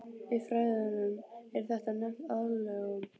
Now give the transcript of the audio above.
Í fræðunum er þetta nefnt aðlögun.